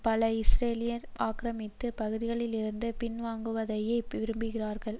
பல இஸ்ரேலியர்கள் ஆக்கிரமித்த பகுதிகளிலிருந்து பின்வாங்குவதையே விரும்புகிறார்கள்